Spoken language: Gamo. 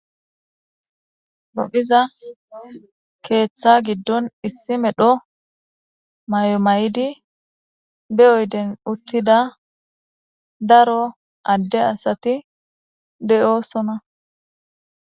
Loiza ketththa giddoni issi medhdho mayo mayidi be oyiddi uttida daro adde asati deosoona